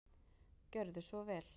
Gjörðu svo vel.